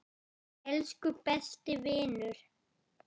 Elsku besti vinur.